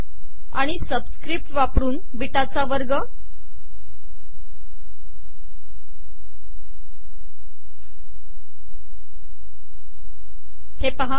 आिण सबिसकपट वापरन बीटाचा दुसरा वगर